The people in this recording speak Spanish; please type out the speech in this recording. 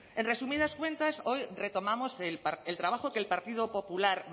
en resumidas cuentas hoy retomamos el trabajo que el partido popular